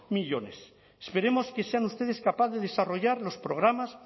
millónes esperemos que sean ustedes capaces de desarrollar los programas